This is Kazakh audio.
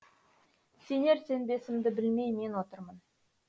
сенер сенбесімді білмей мен отырмын